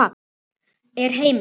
Er heimild?